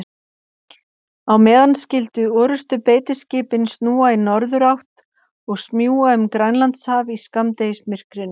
Á meðan skyldu orrustubeitiskipin snúa í norðurátt og smjúga um Grænlandshaf í skammdegismyrkrinu.